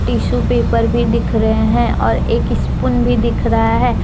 Tissue paper भी दिख रहे हैं और एक स्पून भी दिख रहा है।